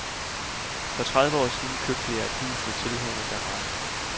For tredive år siden købte jeg hus med tilhørende garage.